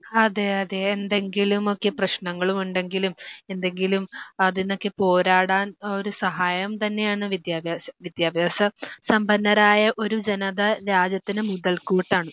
അതെ അതെ എന്തെങ്കിലുമൊക്കെ പ്രശ്നങ്ങളുമുണ്ടെങ്കിലും എന്തെങ്കിലും അതീന്നൊക്കെ പോരാടാൻ ഒരു സഹായം തന്നെയാണ് വിദ്യാഭ്യാസം. വിദ്യാഭ്യാസ സമ്പന്നരായ ഒരു ജനത രാജ്യത്തിന് മുതൽക്കൂട്ടാണ്.